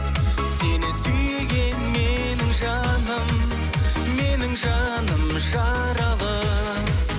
сені сүйген менің жаным менің жаным жаралы